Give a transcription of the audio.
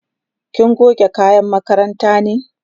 kina goge kayan makaranta ne?